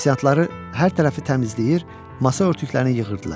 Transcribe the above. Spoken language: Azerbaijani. Aşpazları hər tərəfi təmizləyir, masa örtüklərini yığırdılar.